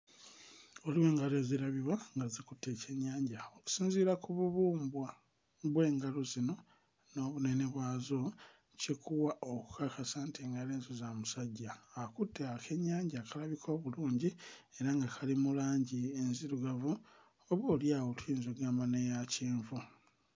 Waliwo engalo ezirabibwa nga zikutte ekyennyanja okusinziira ku bubumbwa bw'engalo zino n'obunene bwazo kikuwa okukakasa nti engalo ezo za musajja akutte akennyanja akalabika obulungi era nga kali mu langi enzirugavu oboolyawo tuyinza oggamba n'eya kyenvu.